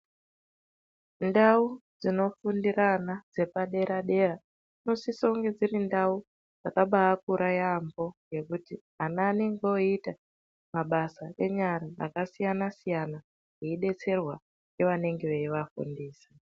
Ndau dzinofundire ana dzepadera dera dzinosise kunge dziri ndau dzakabaakura yaampo ngekuti ana anenge oita mabasa enyara akasiyana siyana eidetserwa ngeanenge eivafundisa.